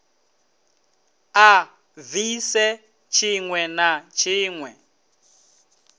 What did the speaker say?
a bvise tshiwe na tshiwe